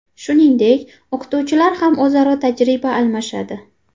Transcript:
Shuningdek, o‘qituvchilar ham o‘zaro tajriba almashadi.